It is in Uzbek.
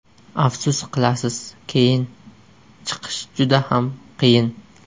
Afsus qilasiz keyin, Chiqish juda ham qiyin.